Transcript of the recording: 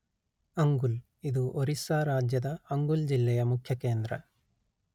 ಅಂಗುಲ್ ಇದು ಒರಿಸ್ಸಾ ರಾಜ್ಯದ ಅಂಗುಲ್ ಜಿಲ್ಲೆ ಯ ಮುಖ್ಯ ಕೇಂದ್ರ